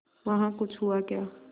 वहाँ कुछ हुआ क्या